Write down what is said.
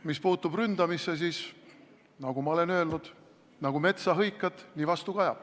Mis puutub ründamisse, siis nagu ma olen öelnud, nagu metsa hõikad, nii vastu kajab.